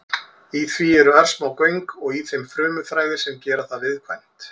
Í því eru örsmá göng og í þeim frumuþræðir sem gera það viðkvæmt.